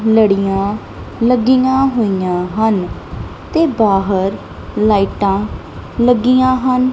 ਲੜੀਆਂ ਲੱਗੀਆਂ ਹੋਈ ਆਂ ਹਨ ਤੇ ਬਾਹਰ ਲਾਈਟਾਂ ਲੱਗੀਆਂ ਹਨ।